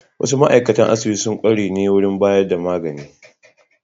Wasu ma'aikatan asibiti sun kware ne wurin bayar da magani.